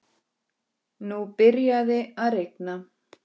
HORNIN, sagði Kobbi.